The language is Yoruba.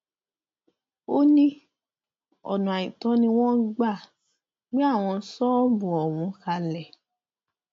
ó ní ọnà àìtọ ni wọn gbà gbé àwọn ṣọọbù ọhún kalẹ